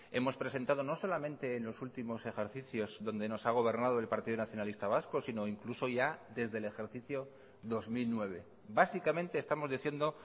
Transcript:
hemos presentado no solamente en los últimos ejercicios donde nos ha gobernado el partido nacionalista vasco sino incluso ya desde el ejercicio dos mil nueve básicamente estamos diciendo